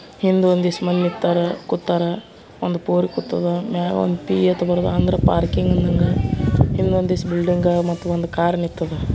ಹಿಂದೆ ಒನ್ ಮಂದಿ ಕೂತಾರ ನಿಂತರ ಕುಂಟಾರ್ ಒಂದು ಪೋರಿ ಕುಂತಾದ ಅಂಡರ್ ಪಾರ್ಕಿಂಗ್ ಇಂದ್ ಒಂದಿಸು ಬಿಲ್ಡಿಂಗ್ ಒಂದು ಕಾರ್ ನಿಂತದ .